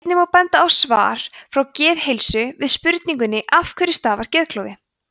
einnig má benda á svar frá geðheilsu við spurningunni af hverju stafar geðklofi